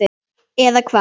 Eða hvað?